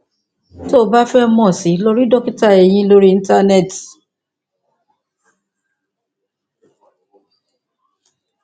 tó o bá fẹ mọ sí i lọ rí dókítà eyín lórí íńtánẹẹtì